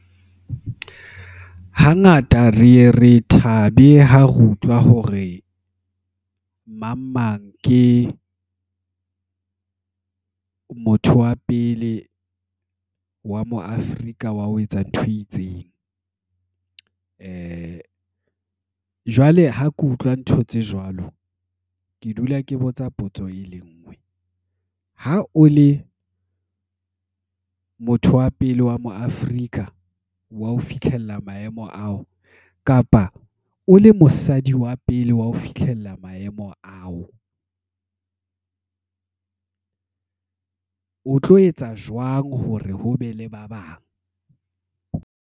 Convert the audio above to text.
Hangata re ye re thabe ha re utlwa hore, mang mang ke motho wa pele wa mo Afrika wa ho etsa ntho e itseng. Jwale ha ke utlwa ntho tse jwalo. Ke dula ke botsa potso e le nngwe, ha o le motho wa pele wa mo Afrika wa ho fihlella maemo ao. Kapa o le mosadi wa pele wa ho fihlella maemo ao. O tlo etsa jwang hore ho be le ba bang.